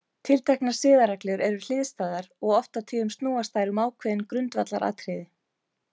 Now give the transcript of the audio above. Tilteknar siðareglur eru hliðstæðar og oft og tíðum snúast þær um ákveðin grundvallaratriði.